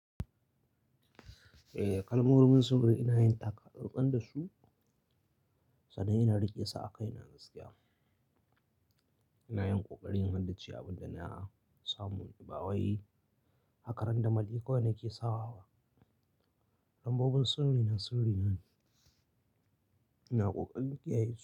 Eh, kalmomin sirri ina yin taka tsantsan da su, sannan ina riƙe sa a kaina gaskiya. Ina yin ƙoƙari in haddace abinda na samu, nba wai haka ran damali kawai nake sawa ba. Lambobin sirri na sirri ne, ina ƙoƙarin kiyaye su.